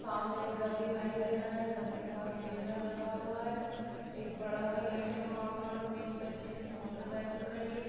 सामने घर दिखाई दे रहा है घर के पास बेनर लगा हुआ है। एक बड़ा सा गेट है वहाँ पर बीस पच्चीस मोटरसाइकिल खड़ी है।